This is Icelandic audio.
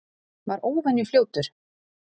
Var óvenju fljótur.